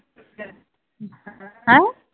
ਹੈ